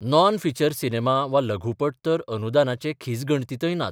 Non feature cinema वा लघुपट तर अनुदानाचे खिजगणतीतय नात.